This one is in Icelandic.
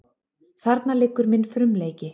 Þarna liggur minn frumleiki.